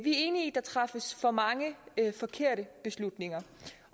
der træffes for mange forkerte beslutninger